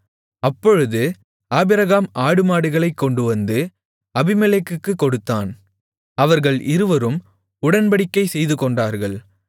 அப்பொழுது ஆபிரகாம் ஆடுமாடுகளைக் கொண்டுவந்து அபிமெலேக்குக்குக் கொடுத்தான் அவர்கள் இருவரும் உடன்படிக்கை செய்துகொண்டார்கள்